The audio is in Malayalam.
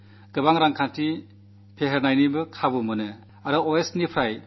വളരെയേറെ സാമ്പത്തിക ഇടപാടുകൾക്കുമുള്ള സാധ്യതകളുണ്ട്